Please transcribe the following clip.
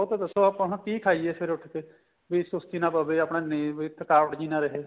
ਉਹ ਤਾਂ ਦੱਸੋ ਆਪਾਂ ਹੁਣ ਕੀ ਖਾਈਏ ਫੇਰ ਰੋਟੀ ਤੇ ਵੀ ਸੁਸਤੀ ਨਾ ਪਵੇ ਆਪਣਾ ਨੀਂਦ ਇੱਕ ਥਕਾਵਟ ਜੀ ਨਾ ਰਹੇ